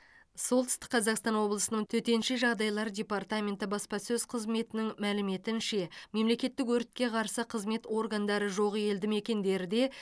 солтүстік қазақстан облысының төтенше жағдайлар департаменті баспасөз қызметінің мәліметінше мемлекеттік өртке қарсы қызмет органдары жоқ елді мекендерде